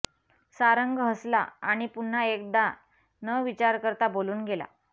सारंग हसला आणि पुन्हा एकदा न विचार करता बोलून गेला